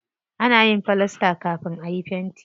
Ana yin filasta kafin ayi fenti.